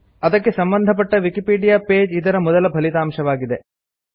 ಅದಕ್ಕೆ ಸಂಬಂಧಪಟ್ಟ Wikipedia page ಇದರ ಮೊದಲ ಫಲಿತಾಂಶವಾಗಿದೆ